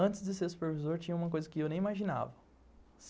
Antes de ser supervisor, tinha uma coisa que eu nem imaginava.